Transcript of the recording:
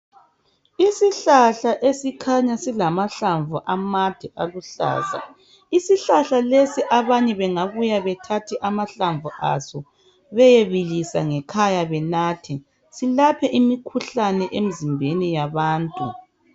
Isihlahla esikhanya silamahlamvu amade aluhlaza, isihlahla lesi abanye bengabuya bethathe amahlamvu aso beyebilisa ngekhaya benathe, silaphe imikhuhlane emizimbeni yabantu.